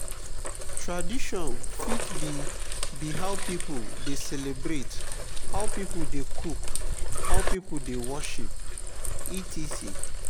tradition fit be be how pipo de celebrate how pipo de cook how pipo de worship etc.